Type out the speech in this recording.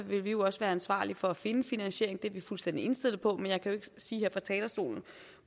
vil vi jo også være ansvarlige for at finde finansiering det er vi fuldstændig indstillet på men jeg kan jo ikke sige her fra talerstolen